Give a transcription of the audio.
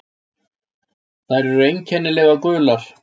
Þær eru einkennilega gular.